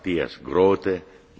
Herr Präsident!